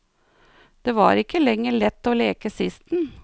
Det var ikke lenger lett å leke sisten.